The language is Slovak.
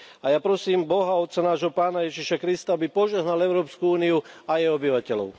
A ja prosím Boha, otca nášho, pána Ježiša Krista, aby požehnal Európsku úniu a jej obyvateľov.